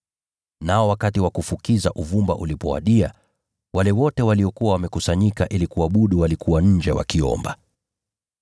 Nao wakati wa kufukiza uvumba ulipowadia, wale wote waliokuwa wamekusanyika ili kuabudu walikuwa nje wakiomba.